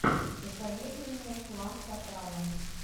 посоветуй мне клан сопрано